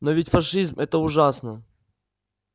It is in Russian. но ведь фашизм это ужасно